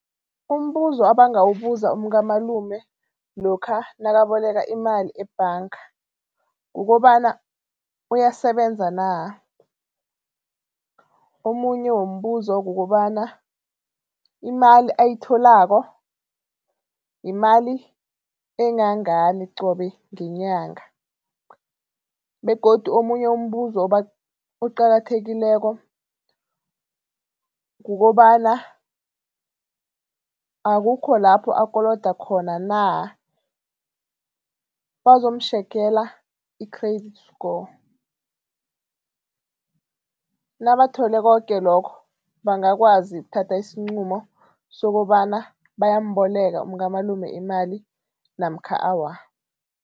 Umbuzo abangawubuza umkamalume lokha nakaboleka imali ebhanga kukobana, uyasebenza na? Omunye wombuzo kukobana imali ayitholako yimali engangani qobe ngenyanga begodu omunye umbuzo oqakathekileko kukobana akukho lapho akoloda khona na. Bazomtjhegela i-credit score, nabathole koke lokho bangakwazi ukuthatha isinqumo sokobana bayamboleka umkamalume imali namkha awa.